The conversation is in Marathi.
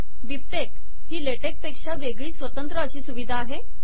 बिबटेक्स ही लेटेक पेक्षा वेगळी स्वतंत्र अशी सुविधा आहे